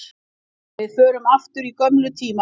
Við förum aftur á gömlu tímana.